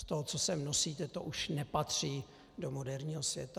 Z toho, co se nosíte, to už nepatří do moderního světa.